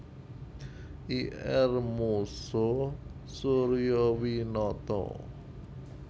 Ir Moeso Suryowinoto